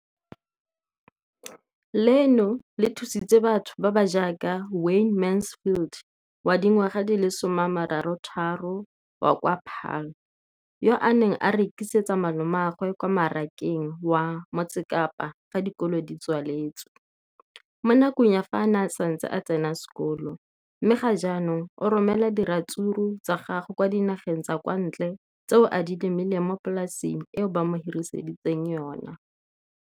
Leno le thusitse batho ba ba jaaka Wayne Mansfield wa dingwaga di le 33 wa kwa Paarl, yo a neng a rekisetsa malomagwe kwa Marakeng wa Motsekapa fa dikolo di tswaletse, mo nakong ya fa a ne a santse a tsena sekolo, mme ga jaanong o romela diratsuru tsa gagwe kwa dinageng tsa kwa ntle tseo a di lemileng mo polaseng eo ba mo hiriseditseng yona.